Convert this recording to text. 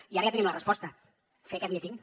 i ara ja tenim la resposta fer aquest míting